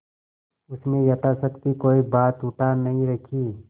उसने यथाशक्ति कोई बात उठा नहीं रखी